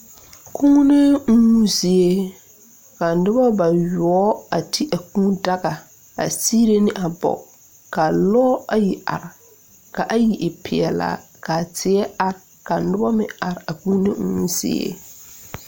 Kūùnee uumo zie kaa nobɔ bayoɔbo a ti a kūū daga a sigre ne a bogi ka lɔɔre ayi are ka ayi e peɛlaa kaa tie are ka nobɔ meŋ are a kūūne uuo zie.